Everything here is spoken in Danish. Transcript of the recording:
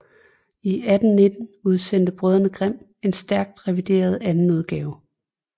I 1819 udsendte brødrene Grimm en stærkt revideret andenudgave